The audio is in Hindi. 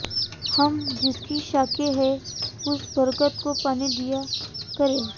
हम जिसकी शाखें हैं उस बरगद को पानी दिया करें